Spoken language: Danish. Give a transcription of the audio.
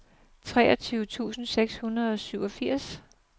treogtyve tusind seks hundrede og syvogfirs